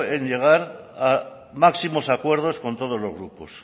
en llegar a máximos acuerdos con todos los grupos